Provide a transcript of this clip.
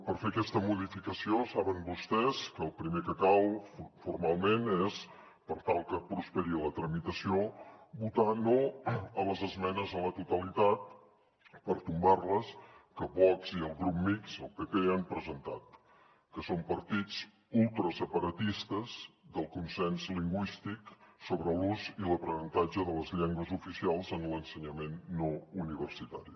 per fer aquesta modificació saben vostès que el primer que cal formalment és per tal que prosperi la tramitació votar no a les esmenes a la totalitat per tombarles que vox i el grup mixt el pp han presentat que són partits ultraseparatistes del consens lingüístic sobre l’ús i l’aprenentatge de les llengües oficials en l’ensenyament no universitari